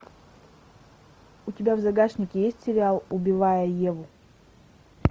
у тебя в загашнике есть сериал убивая еву